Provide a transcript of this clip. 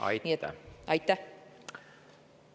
Aitäh!